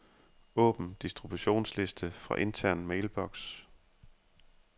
Åbn distributionsliste fra intern mailbox.